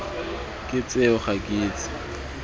ke tseo ga ke itse